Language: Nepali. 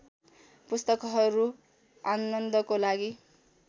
पुस्तकहरू आनन्दको लागि